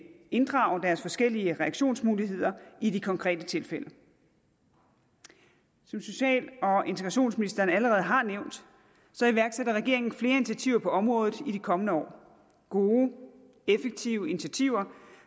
inddrage deres forskellige reaktionsmuligheder i de konkrete tilfælde som social og integrationsministeren allerede har nævnt iværksætter regeringen flere initiativer på området i de kommende år gode effektive initiativer